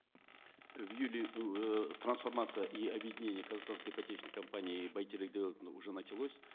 в июле э трансформация и объединение казахстанской ипотечной компании и байтерек девелопмент уже началось